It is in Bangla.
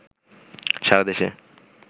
সারা দেশে